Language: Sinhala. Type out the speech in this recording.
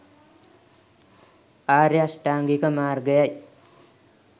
ආර්ය අෂ්ඨාංගික මාර්ගය යි